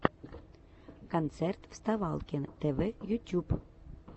концерт вставалкин тв ютюб